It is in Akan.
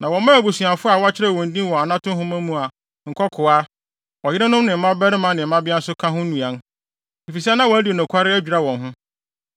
Na wɔmaa abusuafo a wɔakyerɛw wɔn din wɔ anato nhoma mu a nkokoaa, ɔyerenom ne mmabarima ne mmabea nso ka ho nnuan. Efisɛ na wɔadi nokware adwira wɔn ho.